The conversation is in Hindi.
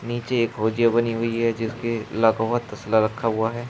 नीचे एक हौजी बनी हुई है जिसके तस्ला रखा हुआ है।